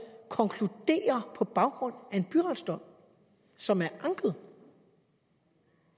konkluderer på baggrund af en byretsdom som er anket